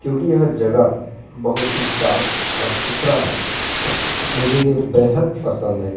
क्योंकि यह जगह बहोत ही साफ और सुथरा है मुझे ये बेहद पसंद है।